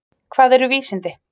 Hvað eru vísindi?